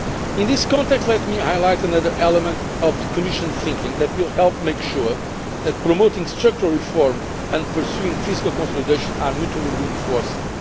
In this context, let me highlight another element of the Commission's thinking that will help make sure that promoting structural reform and pursuing fiscal consolidation are mutually reinforcing.